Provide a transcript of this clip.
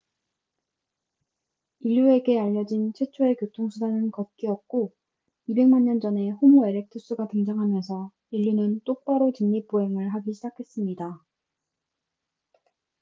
인류에게 알려진 최초의 교통수단은 걷기였고 2백만 년 전에 호모 에렉투스가 등장하면서 인류는 똑바로 직립 보행을 하기 시작했습니다